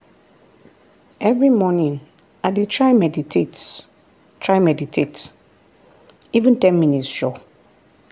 every morning i dey try meditate try meditate — even ten minutes sure.